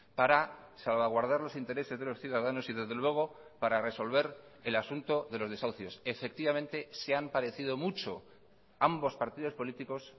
para salvaguardar los intereses de los ciudadanos y desde luego para resolver el asunto de los desahucios efectivamente se han parecido mucho ambos partidos políticos